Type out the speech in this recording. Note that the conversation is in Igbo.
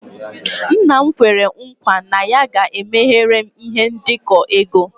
Nna'm kwere nkwa na ya ga-emeghere m ihe ndekọ ego.